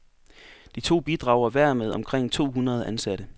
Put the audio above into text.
De to bidrager hver med omkring to hundrede ansatte.